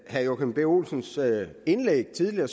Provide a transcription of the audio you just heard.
herre joachim b olsens indlæg tidligere